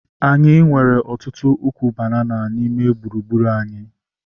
Anyị nwere ọtụtụ ukwu banana n'ime gburugburu anyi